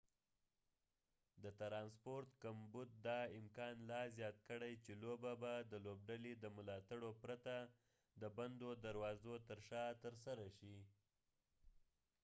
د ترانسپورت کمبود دا امکان لا زیات کړی چې لوبه به د لوبډلې د ملاتړو پرته د بندو دروازو تر شا ترسره شي